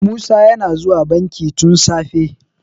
musa yana zuwa banki tun safe